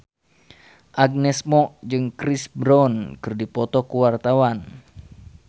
Agnes Mo jeung Chris Brown keur dipoto ku wartawan